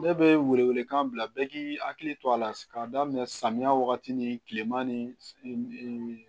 Ne bɛ wele wele kan bila bɛ k'i hakili to a la k'a daminɛ samiyɛ wagati ni kilema ni